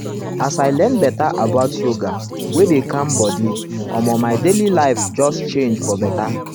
as i learn better about yoga wey dey calm body omo my daily life just life just change for better.